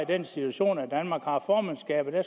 den situation at danmark har formandskabet og